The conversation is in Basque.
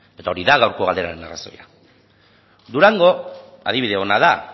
eta hori da gaurko galderaren arrazoia durango adibide ona da